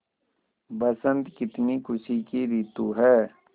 बसंत कितनी खुशी की रितु है